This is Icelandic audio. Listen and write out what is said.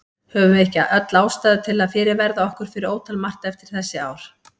Höfum við ekki öll ástæðu til að fyrirverða okkur fyrir ótal margt eftir þessi ár?